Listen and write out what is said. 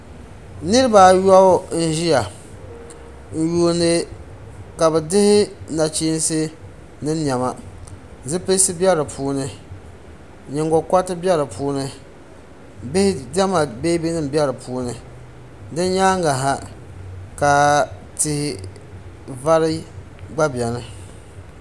niriba ayɔbu n-ʒiya n-yuuni ka bɛ dihi nachinsi ni nema zupilisi be di puuni nyingokɔriti be di puuni bihi diɛma beebi nima be di puuni din nyaaŋa ha ka tihi vari gba beni.